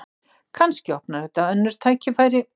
Kannski opnar þetta önnur tækifæri